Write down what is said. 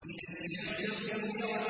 إِذَا الشَّمْسُ كُوِّرَتْ